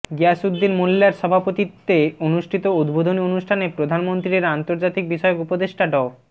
গিয়াসউদ্দিন মোল্যার সভাপতিত্বে অনুষ্ঠিত উদ্বোধনী অনুষ্ঠানে প্রধানমন্ত্রীর আন্তর্জাতিক বিষয়ক উপদেষ্টা ড